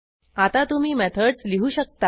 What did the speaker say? आता तुम्ही मेथडस लिहू शकता